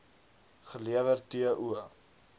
gelewer t o